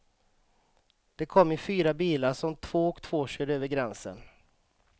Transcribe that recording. De kom i fyra bilar som två och två körde över gränsen.